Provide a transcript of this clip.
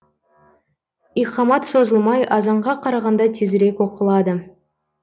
иқамат созылмай азанға қарағанда тезірек оқылады